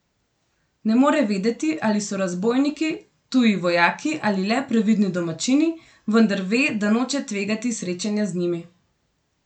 Ne more vedeti, ali so razbojniki, tuji vojaki ali le previdni domačini, vendar ve, da noče tvegati srečanja z njimi.